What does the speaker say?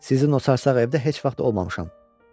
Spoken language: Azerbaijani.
Sizin o çarsaq evdə heç vaxt olmamışam.